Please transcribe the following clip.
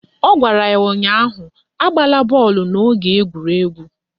Ọ gwara ya ụnyaahụ "Agbala bọọlụ n'oge egwuregwu"!